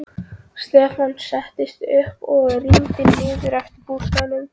Stefán settist upp og rýndi niður eftir að bústaðnum.